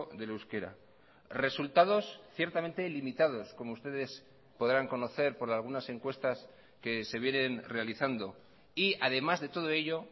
del euskera resultados ciertamente limitados como ustedes podrán conocer por algunas encuestas que se vienen realizando y además de todo ello